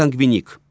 Sanqvinik.